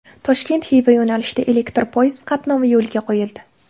Toshkent Xiva yo‘nalishida elektr poyezd qatnovi yo‘lga qo‘yildi .